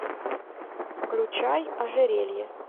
включай ожерелье